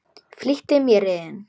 Flýtti mér inn.